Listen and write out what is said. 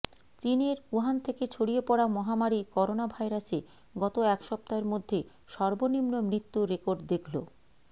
চীনের উহান থেকে ছড়িয়ে পড়া মহামারি করোনাভাইরাসে গত এক সপ্তাহের মধ্যে সর্বনিম্ন মৃত্যুর রেকর্ড দেখল